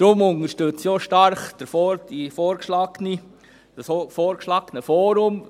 Darum unterstütze ich auch stark das vorgeschlagene Forum;